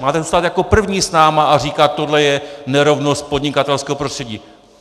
Máte tu stát jako první s námi a říkat: Tohle je nerovnost podnikatelského prostředí!